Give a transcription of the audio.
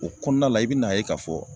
O kɔɔna la i bi n'a ye k'a fɔ